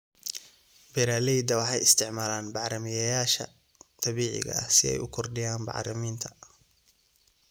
Beeraleydu waxay isticmaalaan bacrimiyeyaasha dabiiciga ah si ay u kordhiyaan bacriminta.